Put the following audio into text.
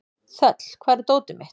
Þöll, hvar er dótið mitt?